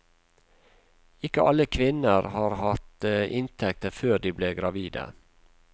Ikke alle kvinner har hatt inntekt før de ble gravide.